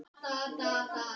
Það var gert í fyrra.